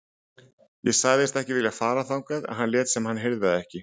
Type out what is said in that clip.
Ég sagðist ekki vilja fara þangað en hann lét sem hann heyrði það ekki.